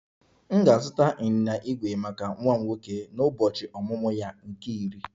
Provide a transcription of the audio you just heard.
M ga-azụta ịnyịnya ígwè maka nwa m nwoke n'ụbọchị ọmụmụ ya nke iri